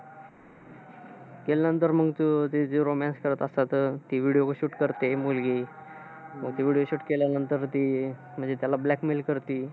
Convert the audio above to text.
त्यानंतर मग ते जे romance करत असतात. ती video shoot करते, मुलगी. मग तो video shoot केल्यानंतर ती म्हणजे अह त्याला blackmail करते.